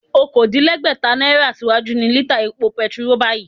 Okòódínlẹ́gbẹ́ta náírà síwájú ni lítà epo bẹntiróò báyìí